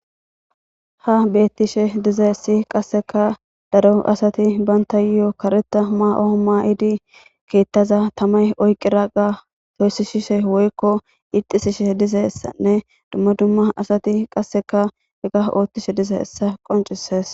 Ha betishe dizayis qaseka daro asati banitayo karetha Mayo ma'di kethaza tamay oyikidaga toyisishe woyiko pitisishe dizaysane duma duma asati qaseka hesa othishe dizaysa qonicises